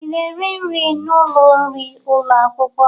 Ị na-eri nri n'ụlọ nri ụlọ akwụkwọ?